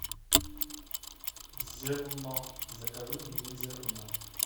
зерно закажи мне зерно